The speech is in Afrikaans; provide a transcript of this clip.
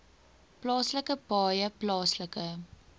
plaaslike paaie plaaslike